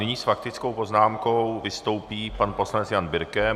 Nyní s faktickou poznámkou vystoupí pan poslanec Jan Birke.